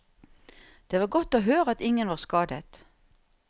Det var godt å høre at ingen var skadet.